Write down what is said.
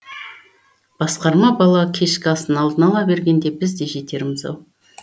басқарма бала кешкі асын алдына ала бергенде біз де жетерміз ау